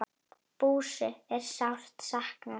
Bússu er sárt saknað.